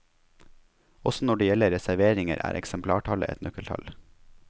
Også når det gjelder reserveringer, er eksemplartallet et nøkkeltall.